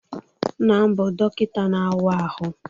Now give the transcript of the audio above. Nna m bụ dọkịta na-awa ahụ